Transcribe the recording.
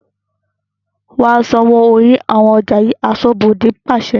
"Wa san owó orí àwọn ọjà yii" aṣọ́bodè pàṣẹ.